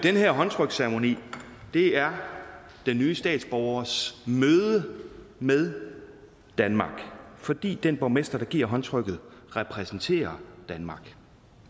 her håndtryksceremoni er den nye statsborgers møde med danmark fordi den borgmester der giver håndtrykket repræsenterer danmark